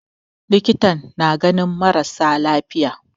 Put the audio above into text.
Likitan na ganin mara sa lafiya.